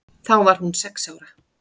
Þá var hún sex ára.